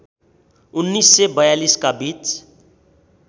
१९४२ का बीच